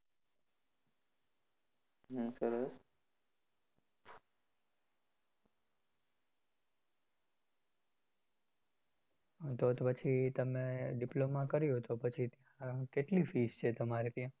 તોતો પછી તમે diploma કર્યું તો પછી કેટલી fees છે તમારે ત્યાં